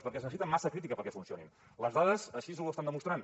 perquè es necessita massa crítica perquè funcionin les dades així ho estan demostrant